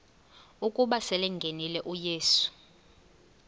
ukuba selengenile uyesu